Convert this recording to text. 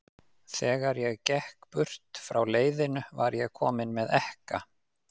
Þegar ég gekk burt frá leiðinu, var ég kominn með ekka.